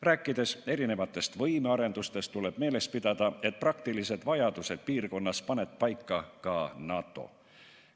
Rääkides erinevate võimete arendustest, tuleb meeles pidada, et praktilised vajadused piirkonnas paneb paika ka NATO.